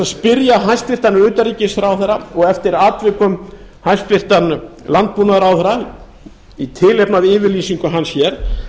spyrja hæstvirtan utanríkisráðherra og eftir atvikum hæstvirtur landbúnaðarráðherra í tilefni af yfirlýsingu hans hér